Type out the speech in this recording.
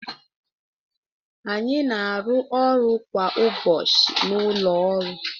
Anyị na-arụ ọrụ kwa ụbọchị na ụlọ ọrụ